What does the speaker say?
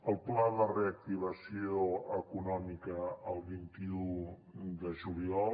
el pla de reactivació econòmica el vint un de juliol